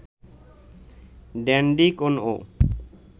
dandy কোনও